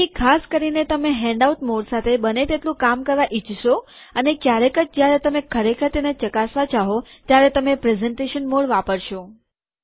તેથી ખાસ કરીને તમે હેન્ડઆઉટ મોડ સાથે બને એટલું કામ કરવા ઈચ્છશો અને ક્યારેક જ જયારે તમે ખરેખર તેને ચકાસવા ચાહો ત્યારે તમે પ્રેઝેન્ટેશન મોડ વાપરશો